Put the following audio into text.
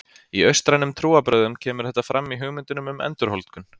Í austrænum trúarbrögðum kemur þetta fram í hugmyndunum um endurholdgun.